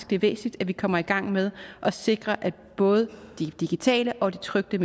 det er væsentligt at vi kommer i gang med at sikre at både de digitale og de trykte